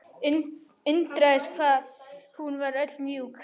Undraðist hvað hún var öll mjúk.